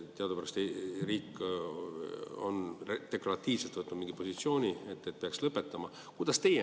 Teadupärast riik on deklaratiivselt võtnud mingi positsiooni, et peaks lõpetama.